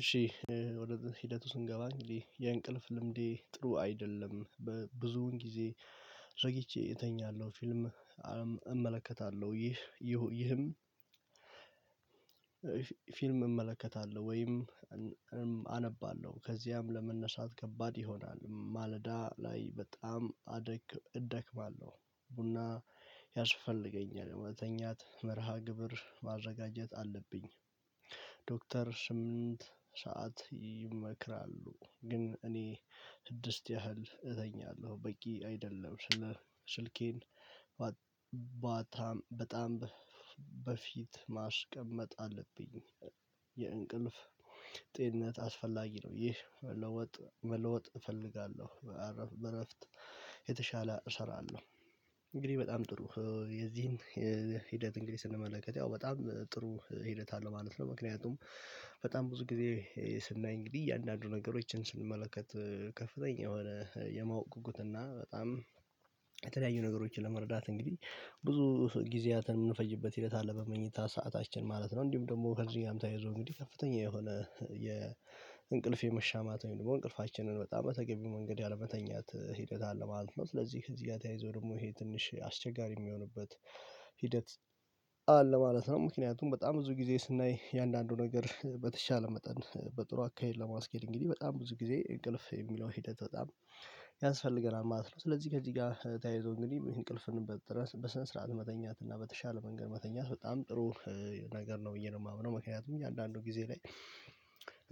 እሺ ወደ ሂደቱ ስንገባ የእንቅልፍ ልምዴ ጥሩ አይደለም። በብዙውን ጊዜ ረግጬ እተኛለሁ ፊልም አመለከታለሁ። ይህም ፊልም እመለከታለሁ። ወይም አነባለሁ። ከዚያም ለመነሻት ከባድ ይሆናል። ማለዳ ላይ በጣም አደክም እደክማለሁ ቡና ያሽፈልገኛል ወደተኛት መርሃ ግብር ማዘጋጀት አለብኝ። ዶክተር ስምንት ሰዓት ይመክራሉ። ግን እኔ ስድስት ያህል እተኛለሁ በቂ አይደለም። ስልኬን ባታም በጣም በፊት ማስቀመጥ አለብኝ የእንቅልፍ ጤንነት አስፈላጊ ነው። ይህ መለወጥ መለወጥ እፈልጋለሁ በእረፍት የተሻለ እሰራለሁ። እንግዲህ በጣም ጥሩ የዚህን ሂደት እንግዲህ ስንመለከት ያው በጣም ጥሩ ሂደት አለ ማለት ነው። ምክንያቱም በጣም ብዙ ጊዜ ስናይ እንግዲህ እያንዳንዱ ነገሮችን ስንመለከት ከፍተኛ የሆነ የማወቅ ጉጉት እና በጣም የተለያዩ ነገሮችን ለመረዳት እንግዲህ ብዙ ጊዜያትን የምንፈጅበት ሂደት አለ በመኝታ ሰዓታችን ማለት ነው። እንዲሁም ደግሞ ከጊዜም ጋር ተያይዞ እንግዲህ ከፍተኛ የሆነ የእንቅልፍ የመሻማት ወይም ደግሞ እንቅልፋችንን በጣም በተገኘው መንገድ ያለመተኛት ሂደት አለ ማለት ነው ስለዚህ እዚህ ጋር ይዞ ደግሞ ይሄ ትንሽ አስቸጋሪ የሚሆንበት ሂደት አለ ማለት ነው ምክንያቱም በጣም ብዙ ጊዜ ስናይ የአንዳንዱ ነገር በተሻለ መጠን በጥሩ አካሄድ ለማስኬድ እንግዲህ በጣም ብዙ ጊዜ እንቅልፍ የሚለው ሂደት በጣም ያንስፈልገናል። ማለት ነው። ስለዚህ ከዚህ ጋር ተያይዞ እንግዲህ እንቅልፍ እንበል በስነ ስርዓት መተኛት እና በተሻለ መንገድ መተኛት በጣም ጥሩ ነገር ነው። ብዬ ነው የማምነው ምክንያቱም እያንዳንዱ ጊዜ ላይ